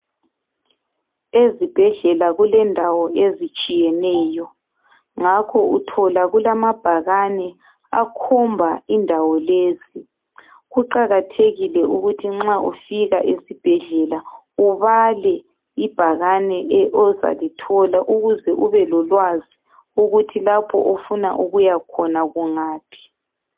Ezibhedlela kulendawo ezitshiyeneyo ngakho uthola kulamabhakani akhomba indawo lezi kuqakathekile ukuthi nxa ufika esibhedlela ubale ibhakane ozalithola ukuze ubelolwazi ukuthi lapho ofuna ukuyakhona kungaphi